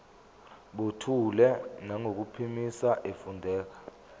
buthule nangokuphimisa efundela